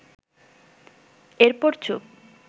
এরপর চুপ